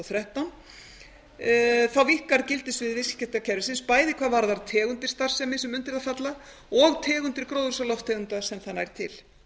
þrettán þá víkkar gildissvið viðskiptakerfisins bæði hvað varðar tegundir starfsemi sem undir það falla og tegundir gróðurhúsalofttegunda sem það nær til